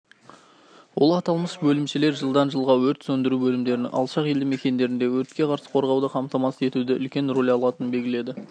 ол аталмыш бөлімшелер жылдан жылға өрт сөндіру бөлімдерінен алшақ елді мекендерінде өртке қарсы қорғауды қамтамасыз етуде үлкен роль алатының белгіледі